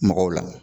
Mɔgɔw la